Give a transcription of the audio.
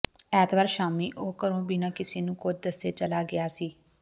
ਐਤਵਾਰ ਸ਼ਾਮੀਂ ਉਹ ਘਰੋਂ ਬਿਨਾ ਕਿਸੇ ਨੂੰ ਕੁਝ ਦੱਸੇ ਚਲਾ ਗਿਆ ਸੀ